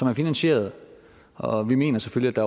er finansieret og vi mener selvfølgelig at